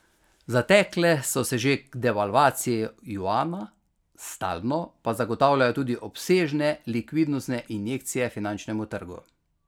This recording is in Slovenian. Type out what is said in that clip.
Zatekle so se že k devalvaciji juana, stalno pa zagotavljajo tudi obsežne likvidnostne injekcije finančnemu trgu.